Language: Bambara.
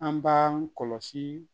An b'an kɔlɔsi